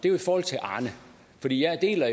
er i forhold til arne fordi jeg jo deler